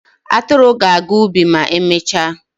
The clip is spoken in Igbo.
Atụrụ ga-aga ubi ma emechaa.